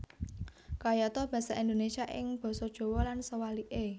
Kayata basa Indonésia ing basa Jawa lan suwalike